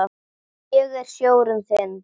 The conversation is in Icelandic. Ég er sjórinn þinn.